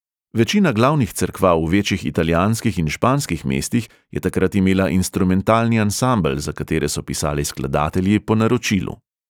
Večina glavnih cerkva v večjih italijanskih in španskih mestih je takrat imela instrumentalni ansambel, za katere so pisali skladatelji po naročilu.